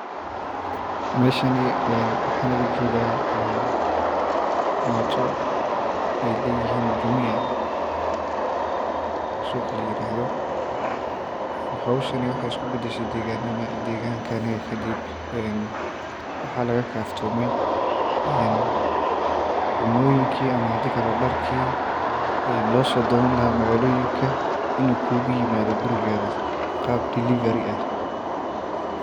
Meeshaan waxaan u jeedaa mooto ay leeyihiin Jumia, suuqa la yiraahdo. Hawshani waxay isu beddeshay deegaankeenna. Kadib waxaa laga kaftamay cuntooyinkii ama dharkii loo soo doonan lahaa magaalada in uu kugu yimaado gurigaaga qaab delivery ah